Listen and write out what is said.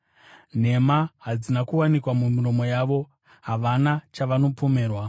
Nhema hadzina kuwanikwa mumiromo yavo; havana chavanopomerwa.